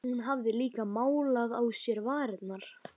Hún hafði líka málað á sér varirnar.